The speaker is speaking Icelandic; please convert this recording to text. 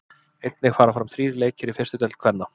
Einnig fara fram þrír leikir í fyrstu deild kvenna.